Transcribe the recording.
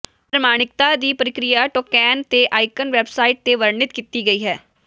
ਪ੍ਰਮਾਣਿਕਤਾ ਦੀ ਪ੍ਰਕਿਰਿਆ ਟੌਕੈਨ ਅਤੇ ਆਈਕਨ ਵੈਬਸਾਈਟ ਤੇ ਵਰਣਿਤ ਕੀਤੀ ਗਈ ਹੈ